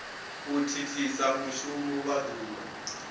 u thithisa mushumo wa duvha